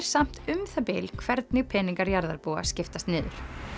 samt um það bil hvernig peningar jarðarbúa skiptast niður